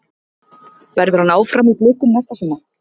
Verður hann áfram í Blikum næsta sumar?